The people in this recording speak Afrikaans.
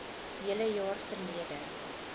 hele jaar verlede